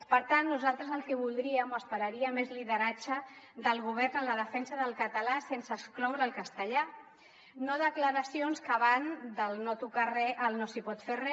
per tant nosaltres el que voldríem o esperaríem és lideratge del govern en la defensa del català sense excloure el castellà no declaracions que van del no tocar re al no s’hi pot fer re